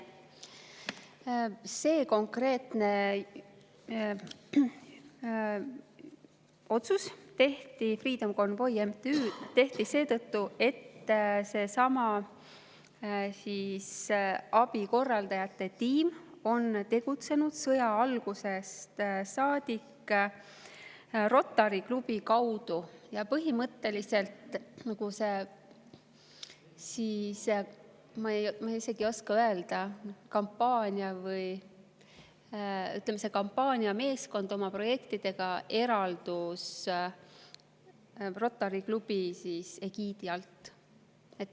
See konkreetne otsus tehti Freedom Convoy MTÜ kohta seetõttu, et abikorraldajate tiim on tegutsenud sõja algusest saadik Rotary klubi kaudu ja põhimõtteliselt see, ma isegi ei oska öelda, kampaaniameeskond oma projektidega eraldus Rotary klubi egiidi alt.